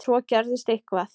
Svo gerðist eitthvað.